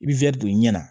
I bɛ don i ɲɛ na